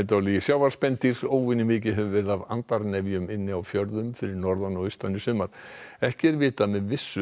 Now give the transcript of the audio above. óvenjumikið hefur verið af inni á fjörðum fyrir norðan og austan í sumar ekki er vitað með vissu hvaða erindi þessi